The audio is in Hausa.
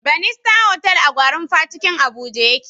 Banista otal a gwarinpa cikin abuja ya ke